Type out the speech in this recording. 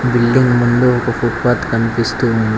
Building ముందు ఒక footpath కనిపిస్తూ ఉంది.